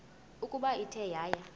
ukuba ithe yaya